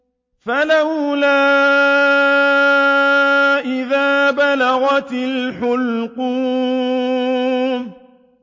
فَلَوْلَا إِذَا بَلَغَتِ الْحُلْقُومَ